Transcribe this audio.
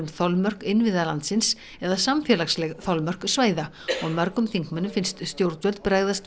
þolmörk innviða landsins eða samfélagsleg þolmörk svæða og mörgum þingmönnum finnst stjórnvöld bregðast